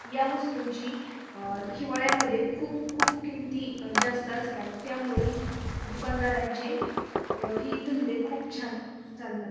या वस्तूंची हिवाळ्यामध्ये खूप खूप किमती जास्त असतात त्यामुळे दुकानदारांचे हे धंदे खूप छान चालतात.